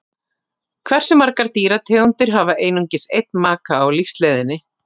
hversu margar dýrategundir hafa einungis einn maka á lífsleiðinni